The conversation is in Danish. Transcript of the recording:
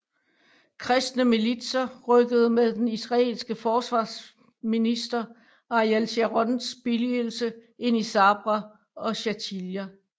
Kristne militser rykkede med den israelske forsvarsminister Ariel Sharons billigelse ind i Sabra og Shatila